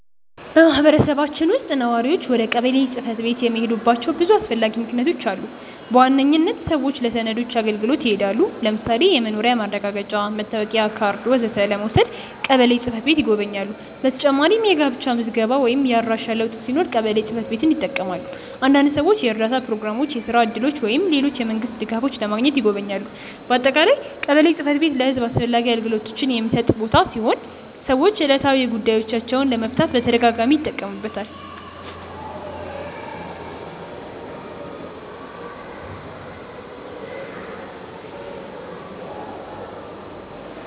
በማህበረሰባችን ውስጥ ነዋሪዎች ወደ ቀበሌ ጽ/ቤት የሚሄዱባቸው ብዙ አስፈላጊ ምክንያቶች አሉ። በዋነኝነት ሰዎች ለሰነዶች አገልግሎት ይሄዳሉ። ለምሳሌ የመኖሪያ ማረጋገጫ፣ መታወቂያ ካርድ ወዘተ ለመውሰድ ቀበሌ ጽ/ቤት ይጎበኛሉ። በተጨማሪም የጋብቻ ምዝገባ ወይም የአድራሻ ለውጥ ሲኖር ቀበሌ ጽ/ቤትን ይጠቀማሉ። አንዳንድ ሰዎች የእርዳታ ፕሮግራሞች፣ የስራ እድሎች ወይም ሌሎች የመንግስት ድጋፎች ለማግኘትም ይጎበኛሉ። በአጠቃላይ ቀበሌ ጽ/ቤት ለህዝብ አስፈላጊ አገልግሎቶችን የሚሰጥ ቦታ ሲሆን ሰዎች ዕለታዊ ጉዳዮቻቸውን ለመፍታት በተደጋጋሚ ይጠቀሙበታል።